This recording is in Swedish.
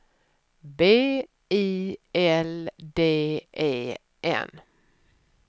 B I L D E N